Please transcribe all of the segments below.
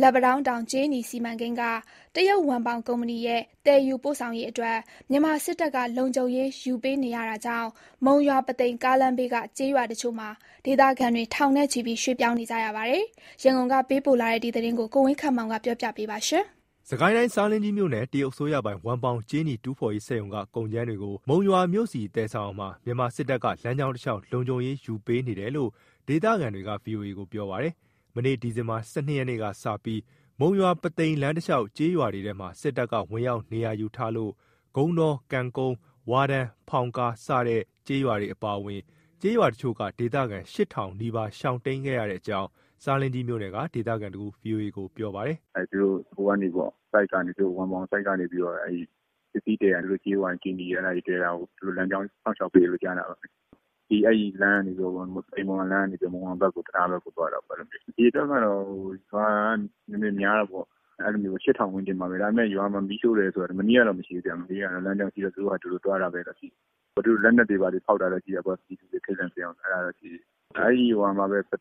လက်ပံတောင်းတောင် ကြေးနီစီမံကိန်းက တရုတ်ဝမ်ပေါင်ကုမ္ပဏီရဲ့သယ်ယူပို့ဆောင်ရေးအတွက် မြန်မာစစ်တပ်က လုံခြုံရေးယူပေးနေရတာကြောင့် မုံရွာ-ပုသိမ် ကားလမ်းဘေးက ကျေးရွာတချို့မှာ ဒေသခံတွေ ထောင်ချီပြီး ရွှေ့ပြောင်းနေရပါတယ်။ ရန်ကုန်က ပေးပို့လာတဲ့ ဒီသတင်းကို ကိုဝင်းခန့်မောင်က တင်ပြပေးထားပါတယ်။ စစ်ကိုင်းတိုင်း၊ ဆားလင်းကြီးမြို့နယ်က တရုတ်အစိုးရပိုင် ဝမ်ပေါင်ကြေးနီတူးဖော်ရေးစက်ရုံကကုန်ကြမ်းတွေကို မုံရွာမြို့ဆီ သယ်ယူတာမှာ မြန်မာစစ်တပ်က လမ်းကြောင်းတလျှောက် လုံခြုံရေးယူပေးနေတယ်လို့ ဒေသခံတွေက ဗွီအိုအေကို ပြောပါတယ်။ မနေ့က ဒီဇင်ဘာ ၁၂ ရက်ကစပြီး မုံရွာ-ပုသိမ် လမ်းတလျှောက်ကျေးရွာတွေမှာ စစ်တပ်က ဝင်ရောက်နေရာယူထားလို့ ဂုံးတော၊ ကံကုန်း၊ ဝါးတန်း၊ ဖောင်ကား စတဲ့ကျေးရွာတွေအပါအဝင် ကျေးရွာတချို့က ဒေသခံ ၈,၀၀၀ နီးပါး ရှောင်တိမ်းခဲ့ရကြောင်း ဆားလင်းကြီးမြို့နယ်က ဒေသခံတဦးက ဗွီအိုအေကို ပြောပါတယ်။ "သူတို့ ဝမ်ပေါင်ဆိုက်ကနေ ပစ္စည်းသယ်တာ၊ ကြေးဝါ ကြေးနီသယ်တာကို သူတို့လမ်းကြောင်း စောင့်ရှောက်ပေးတယ် ကြားတယ်။ အဲဒီမုံရွာလမ်းကနေ မုံရွာတံတားဘက်ကို သွားတာပေါ့။ အရေအတွက်ကတော့ ရွာကနည်းနည်း များတယ်ပေါ့ (လူဦးရေ) ၈,၀၀၀ ဝန်းကျင်ပါပဲ။ ဒါပေမဲ့ ရွာမှာ မီးရှို့တာတော့ မနေ့ကတော့ မရှိဘူးဗျ။ လမ်းကြောင်းရှိတော့ သူတို့ဖာသူတို့ သွားတာပဲ။ လက်နက်တွေဘာတွေ ဖောက်တာတော့ ရှိတာပေါ့။ လူတွေ ထိတ်လန့်စေအောင်။ အဲဒီ ပု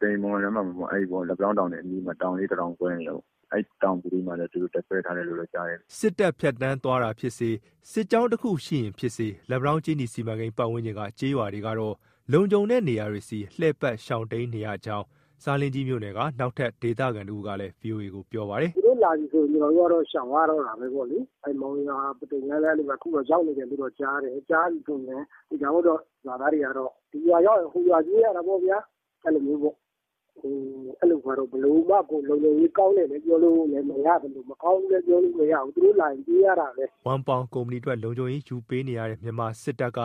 သိမ်-မုံရွာ လမ်းမပေါ်မှာပဲ လက်ပံတောင်းတောင်အနီးမှာ။ တောင်ပုလေးတတောင် ကွဲနေတယ်ပေါ့။ အဲဒီမှာလည်း သူတို့တပ်စွဲထားတယ်လို့ ကြားတယ်။" စစ်တပ်ဖြတ်သန်းသွားတာဖြစ်စေ၊ စစ်ကြောင်းတခုရှိရင်ဖြစ်စေ လက်ပံတောင်း ကြေးနီစီမံကိန်း ပတ်ဝန်းကျင် ကျေးရွာတွေကတော့ လုံခြုံတဲ့နေရာတွေဆီ လှည့်ပတ်၊ ရှောင်တိမ်းနေရကြောင်း ဆားလင်းကြီးမြို့နယ်က နောက်ထပ်ဒေသခံတဦးက ဗွီအိုအေကို ပြောပါတယ်။ "သူတို့လာရင်တော့ ကျနော်တို့ကတော့ ရှောင်ရတော့တာပဲလေ၊ မုံရွာ-ပုသိမ်လမ်းလည်း အဲလိုပဲ အခုရောက်နေတယ်လို့ ကြားတယ်၊ ကြားပြီဆိုရင် သေချာပေါက်တော့ ရွာသားတွေကတော့ ဒီရွာရောက်ရင် ဟိုရွာပြေးရတော့တာပေါ့ဗျာ။ ဘယ်လိုမှကို လုံခြုံရေးကောင်းတယ်လို့ ပြောလို့မရသလို မကောင်းဘူးလည်း ပြောလို့မရဘူး သူတို့လာရင် ပြေးရတာပဲ။" ဝမ်ပေါင်ကုမ္ပဏီအတွက် လုံခြုံရေးယူပေးနေရတဲ့ မြန်မာစစ်တပ်က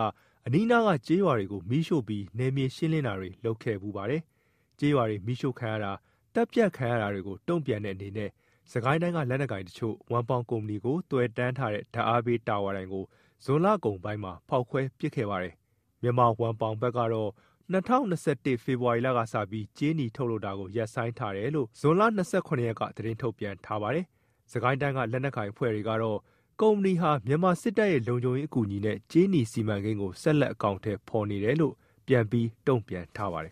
အနီးအနားက ကျေးရွာတွေကို မီးရှို့ပြီး နယ်မြေရှင်းလင်းတာတွေ လုပ်ခဲ့ဖူးပါတယ်။ ကျေးရွာတွေ မီးရှို့ခံရတာ၊ သတ်ဖြတ်ခံရတာတွေကို တုံ့ပြန်တဲ့အနေနဲ့ စစ်ကိုင်းတိုင်းထဲက လက်နက်ကိုင်တချို့က ဝမ်ပေါင်ကုမ္ပဏီကို သွယ်တန်းထားတဲ့ ဓာတ်အားပေးတာဝါတိုင်ကို ဇွန်လကုန်ပိုင်းမှာ ဖောက်ခွဲပစ်ခဲ့ပါတယ်။ မြန်မာဝမ်ပေါင်ဘက်ကတော့ ၂၀၂၁ ဖေဖော်ဝါရီလကစပြီး ကြေးနီထုတ်လုပ်တာကို ရပ်ဆိုင်းထားတယ်လို့ ဇွန်လ၂၇ ရက်က သတင်းထုတ်ပြန် ထားပါတယ်။ စစ်ကိုင်းတိုင်းက လက်နက်ကိုင် အဖွဲ့တွေကတော့ ကုမ္ပဏီဟာ မြန်မာစစ်တပ်ရဲ့လုံခြုံရေးအကူအညီနဲ့ ကြေးနီစီမံကိန်းကို ဆက်လက် အကောင်အထည် ဖော်နေတယ်လို့ ပြန်ပြီးတုံ့ပြန်ထားပါတယ်